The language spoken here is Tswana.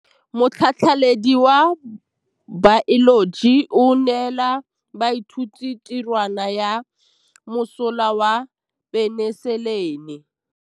Motlhatlhaledi wa baeloji o neela baithuti tirwana ya mosola wa peniselene.